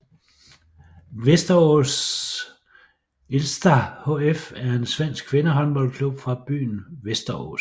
VästeråsIrsta HF er en svensk kvindehåndboldklub fra byen Västerås